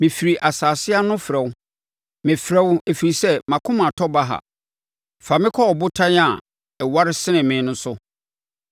Mefiri asase ano frɛ wo, mefrɛ wo ɛfiri sɛ mʼakoma atɔ baha; fa me kɔ ɔbotan a ɛware sene me no so.